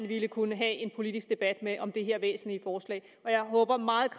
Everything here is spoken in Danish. vi kunne have en politisk debat med om det her væsentlige forslag jeg håber meget